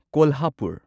Kolhapur